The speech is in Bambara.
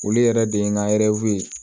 Olu yɛrɛ de ye n ka